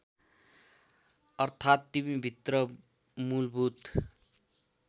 अर्थात् तिमीभित्र मूलभूत